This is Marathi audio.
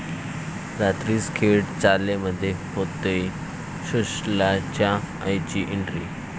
रात्रीस खेळ चाले'मध्ये होतेय सुशल्याच्या आईची एन्ट्री